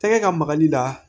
Tɛgɛ ka magali la